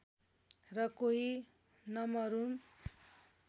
र कोही नमरुन्